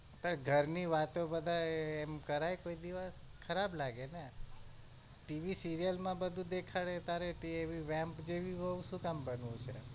ઘર ની વાતો બધાય એમ કરાય કોઈ દિવસ ખરાબ લાગે ને TV serial માં બધું દેખાડે તારે એવી vamp જેવી વઉં શું કામ બનવું છે?